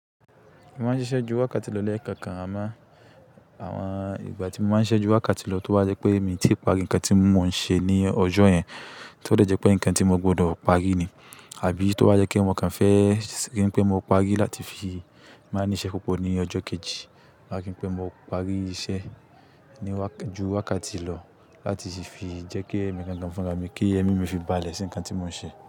Mo máa ń ṣiṣẹ́ ju wákàtí lọ lẹẹkọọkan, àmọ́ àwọn ìgbà tí mo máa ń ṣiṣẹ́ ju wákàtí lọ tó bá jẹ́ pé èmi ti parí ǹkan tí mò ń ṣe ní ọjọ́ yẹn, tí ó dẹ̀ jẹ́ pé ǹkan tí mo gbọdọ̀ parí ni àbí tó bá jẹ́ pé mo kàn fẹ́ rí pé mo parí láti fi máa ní iṣẹ́ púpò ní ọjọ́ kejì, láti rí pé mo parí iṣẹ́ ní wak–ju wákàtí lọ láti fi jẹ́ kí èmi gangan fúnra mi kí ẹmí mí fi balè sí ǹkan tí mò ń ṣe.